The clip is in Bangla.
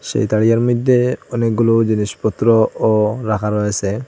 সেই তারিয়ার মইদ্যে অনেকগুলো জিনিসপত্রও রাখা রয়েসে।